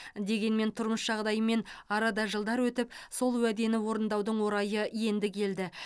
дегенмен тұрмыс жағдайымен арада жылдар өтіп сол уәдені орындаудың орайы енді келді